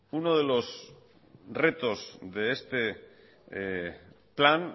uno de los retos de este plan